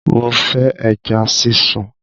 Mo fẹ́ ẹja sísun!